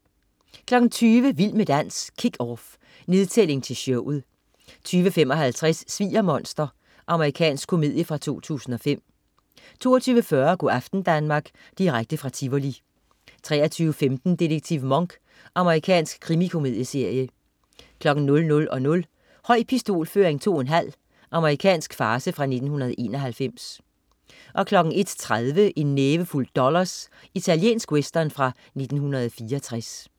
20.00 Vild med dans, Kick Off. Nedtælling til showet 20.55 Sviger-monster. Amerikansk komedie fra 2005 22.40 Go' aften Danmark. Direkte fra Tivoli 23.15 Detektiv Monk. Amerikansk krimikomedieserie 00.00 Høj pistolføring 2 1/2. Amerikansk farce fra 1991 01.30 En nævefuld dollars. Italiensk western fra 1964